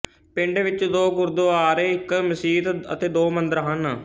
ਪਿੰਡ ਵਿੱਚ ਦੋ ਗੁਰਦੁਆਰੇ ਇੱਕ ਮਸੀਤ ਅਤੇ ਦੋ ਮੰਦਰ ਹਨ